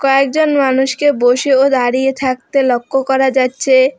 কয়েকজন মানুষকে বসে ও দাঁড়িয়ে থাকতে লক্ষ করা যাচ্ছে।